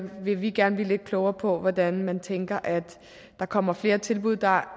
vil vi gerne blive lidt klogere på hvordan man tænker at der kommer flere tilbud der